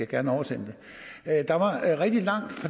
gerne oversende